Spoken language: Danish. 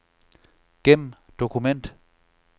Gem dokument.